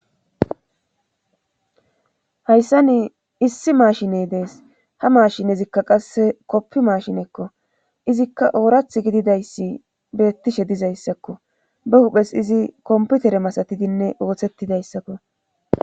Hayssa ni issi maashiney dees ha maashinezikka qasse koppi maashinekko izikka oorath gididayssi beettishe dizayssakko ba huphes izi komputere masatidinne ooththettidayssakko